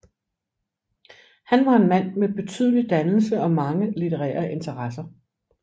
Han var en mand med betydelig dannelse og mange litterære interesser